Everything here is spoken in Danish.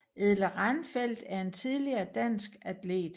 Edle Ranfeldt er en tidligere dansk atlet